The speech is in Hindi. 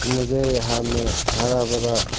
मुझे यहां में हरा भरा--